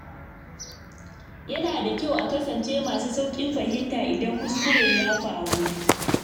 Yana da kyau a kasance masu sauƙin fahimta idan kuskure ya faru.